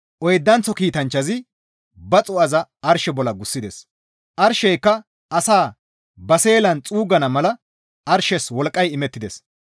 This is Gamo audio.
Oydanththo kiitanchchazi ba xuu7aza arshe bolla gussides; arsheyka asaa ba seelan xuuggana mala arshes wolqqay imettides.